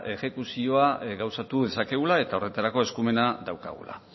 exekuzioa gauzatu dezakegula eta horretarako eskumena daukagula